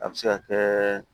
A bɛ se ka kɛ